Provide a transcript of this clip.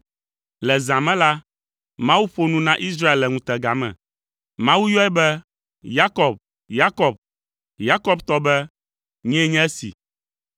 Le zã me la, Mawu ƒo nu na Israel le ŋutega me. Mawu yɔe be, “Yakob! Yakob!” Yakob tɔ be, “Nyee nye esi.”